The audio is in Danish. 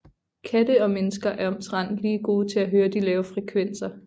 Katte og mennesker er omtrent lige gode til at høre de lave frekvenser